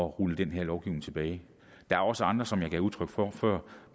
rulle den her lovgivning tilbage der er også andre som jeg gav udtryk for før